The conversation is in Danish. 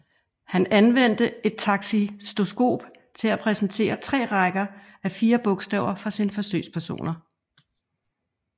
Han anvendte et takistoskop til at præsentere tre rækker af fire bogstaver for sine forsøgspersoner